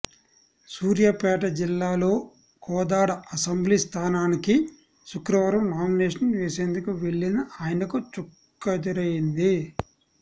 సూర్యాపేట జిల్లాలో కోదాడ అసెంబ్లీ స్థానానికి శుక్రవారం నామినేషన్ వేసేందుకు వెళ్లిన ఆయనకు చుక్కెదురైంది